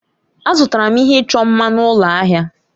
Azụtara m ihe ịchọ mma m na ụlọ ahịa.